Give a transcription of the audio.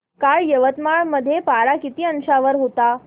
काल यवतमाळ मध्ये पारा किती अंशावर होता